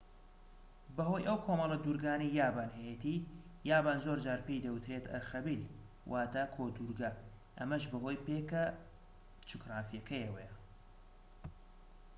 بەهۆی ئەو کۆمەڵە دورگانەی یابان هەیەتی یابان زۆرجار پێی دەوترێت ئەرخەبیل واتە کۆدورگە ئەمەش بەهۆی پێگە جوگرافیەکەیەوە